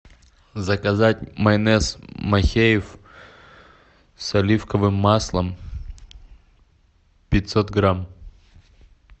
заказать майонез махеев с оливковым маслом пятьсот грамм